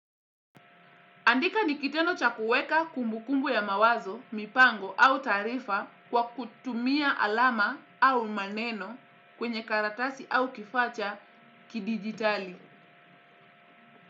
Andika ni kitendo cha kuweka kumbukumbu ya mawazo, mipango au taarifa kwa kutumia alama au maneno kwenye karatasi au kifaa cha kidigitali.